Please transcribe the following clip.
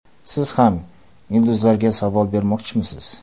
Siz ham yulduzlarga savol bermoqchimisiz?